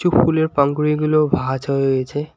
কিছু ফুলের পানখুড়িগুলোও ভাজা হয়ে রয়েছে।